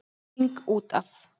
King út af.